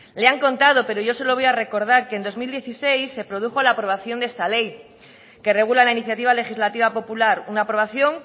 le han contado pero yo se lo voy a recordar que en dos mil dieciséis se produjo la aprobación de esta ley que regula la iniciativa legislativa popular una aprobación